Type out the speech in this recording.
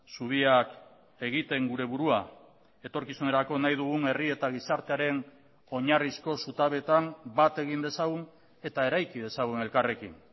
zubiak egiten gure burua etorkizunerako nahi dugun herri eta gizartearen oinarrizko zutabeetan bat egin dezagun eta eraiki dezagun elkarrekin